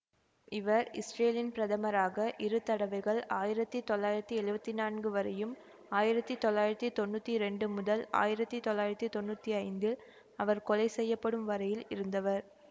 இவர் இஸ்ரேலின் பிரதமராக இரு தடவைகள் ஆயிரத்தி தொள்ளாயிரத்தி எழுவத்தி நான்கு வரையும் ஆயிரத்தி தொள்ளாயிரத்தி தொன்னூத்தி இரண்டு முதல் ஆயிரத்தி தொள்ளாயிரத்தி தொன்னூத்தி ஐந்தில் அவர் கொலை செய்யப்படும் வரையில் இருந்தவர்